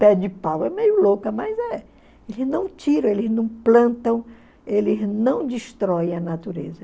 Pé de pau é meio louca, mas é. Eles não tiram, eles não plantam, eles não destroem a natureza.